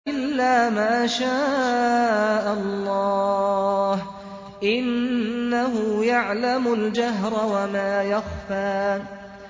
إِلَّا مَا شَاءَ اللَّهُ ۚ إِنَّهُ يَعْلَمُ الْجَهْرَ وَمَا يَخْفَىٰ